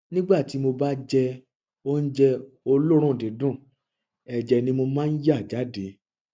nígbà tí mo bá jẹ oúnjẹ olóòórùn dídùn ẹjẹ ni mo máa ń yà jáde